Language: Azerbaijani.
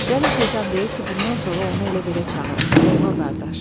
Dəli şeytan deyir ki, bundan sonra onu elə-belə çağırım: Lovğa qardaş.